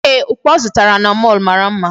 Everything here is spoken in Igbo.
Ee, okpu ọ zụtara na mall mara mma.